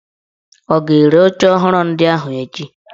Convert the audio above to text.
Ọ ga-ere oche ọhụrụ ndị ahụ echi?